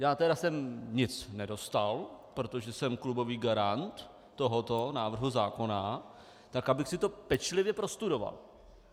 Já tedy jsem nic nedostal, protože jsem klubový garant tohoto návrhu zákona, tak abych si to pečlivě prostudoval.